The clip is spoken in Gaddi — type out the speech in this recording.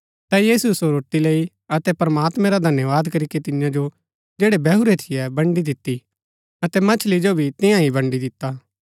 ता यीशुऐ सो रोटी लेई अतै प्रमात्मां रा धन्यवाद करीके तियां जो जैड़ै बैहुरै थियै बन्ड़ी दिती अतै मच्छली जो भी तियां ही बन्डी दिता